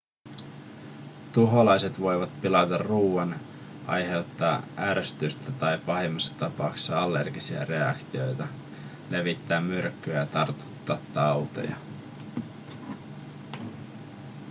tuholaiset voivat pilata ruoan aiheuttaa ärsytystä tai pahemmassa tapauksessa allergisia reaktioita levittää myrkkyä ja tartuttaa tauteja